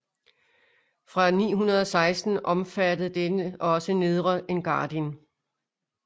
Fra 916 omfattede denne også Nedre Engadin